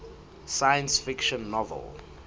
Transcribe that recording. science fiction novel